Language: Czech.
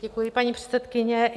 Děkuji, paní předsedkyně.